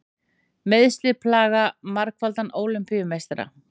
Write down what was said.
Meiðsli plaga margfaldan Ólympíumeistara